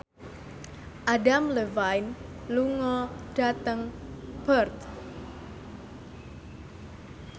Adam Levine lunga dhateng Perth